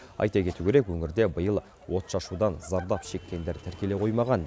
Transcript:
айта кету керек өңірде биыл отшашудан зардап шеккендер тіркеле қоймаған